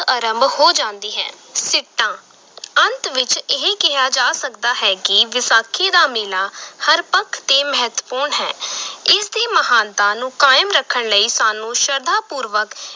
ਅਰੰਭ ਹੋ ਜਾਂਦੀ ਹੈ ਸਿੱਟਾ ਅੰਤ ਵਿਚ ਇਹ ਕਿਹਾ ਜਾ ਸਕਦਾ ਹੈ ਕਿ ਵਿਸਾਖੀ ਦਾ ਮੇਲਾ ਹਰ ਪੱਖ ਤੇ ਮਹੱਤਵਪੂਰਨ ਹੈ ਇਸ ਦੀ ਮਹਾਨਤਾ ਨੂੰ ਕਾਇਮ ਰੱਖਣ ਲਈ ਸਾਨੂੰ ਸ਼ਰਧਾ-ਪੂਰਵਕ